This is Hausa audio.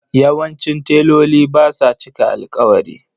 Yawancin teloli ba sa cika alƙawari.